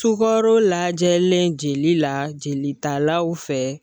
Sukaro lajɛlen jeli la jelitalaw fɛ.